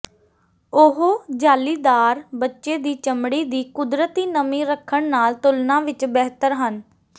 ਉਹ ਜਾਲੀਦਾਰ ਬੱਚੇ ਦੀ ਚਮੜੀ ਦੀ ਕੁਦਰਤੀ ਨਮੀ ਰੱਖਣ ਨਾਲ ਤੁਲਨਾ ਵਿਚ ਬਿਹਤਰ ਹਨ